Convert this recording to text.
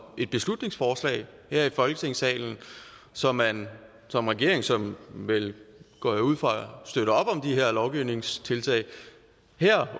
beslutningsforslag her i folketingssalen så man som regering som vel går jeg ud fra støtter op om de her lovgivningstiltag